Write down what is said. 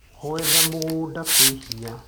Gwetha mũgũda kwĩ hinya.